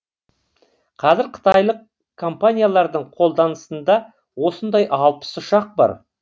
қазір қытайлық компаниялардың қолданысында осындай алпыс ұшақ бар